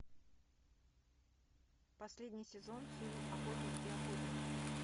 последний сезон фильм охотник и охотник